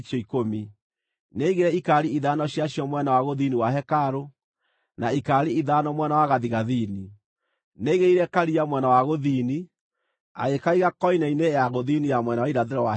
Nĩaigire ikaari ithano ciacio mwena wa gũthini wa hekarũ, na ikaari ithano mwena wa gathigathini. Nĩaigĩrĩire Karia mwena wa gũthini, agĩkaiga koine-inĩ ya gũthini ya mwena wa irathĩro wa hekarũ.